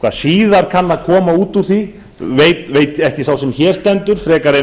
hvað síðar kann að koma út úr þessu veit ekki sá sem hér stendur frekar